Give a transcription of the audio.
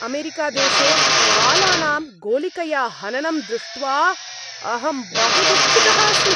अमेरिकादेशे बालानां गोलिकया हननं दृष्ट्वा अहं बहु दुःखितः अस्मि।